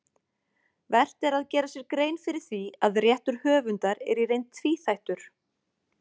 Vert er að gera sér grein fyrir því að réttur höfundar er í reynd tvíþættur.